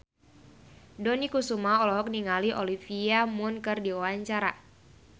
Dony Kesuma olohok ningali Olivia Munn keur diwawancara